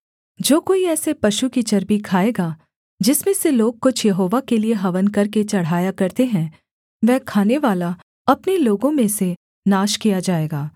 जो कोई ऐसे पशु की चर्बी खाएगा जिसमें से लोग कुछ यहोवा के लिये हवन करके चढ़ाया करते हैं वह खानेवाला अपने लोगों में से नाश किया जाएगा